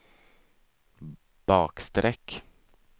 bakstreck